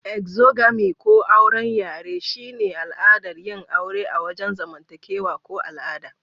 Exogamy ko "auwren yare" shine al'adar yin aure a wajen zamantakewa ko al'ada.